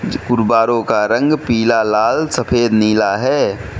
कुर्बारो का रंग पीला लाल सफेद नीला है।